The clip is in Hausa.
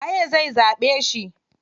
Waye zai zaɓe shi?